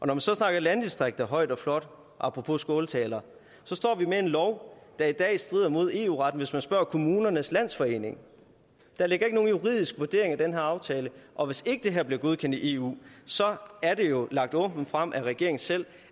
man så snakker landdistrikter højt og flot apropos skåltaler står vi med en lov der i dag strider mod eu retten hvis man spørger kommunernes landsforening der ligger ikke nogen juridisk vurdering i den her aftale og hvis ikke det her bliver godkendt i eu så er det jo lagt åbent frem af regeringen selv